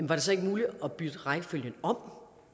var det så ikke muligt at bytte rækkefølgen om